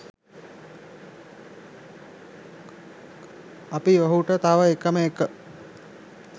අපි ඔහුට තව එකම එක